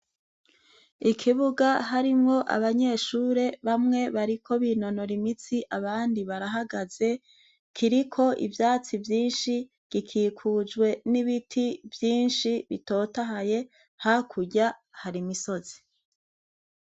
Ikibuga harimw' abanyeshure, bamwe bariko binonor' imitsi, abandi barahagaze kirik' ivyatsi vyinshi gikikujwe n' ibiti vyinshi bitotahaye hakurya har' imisozi.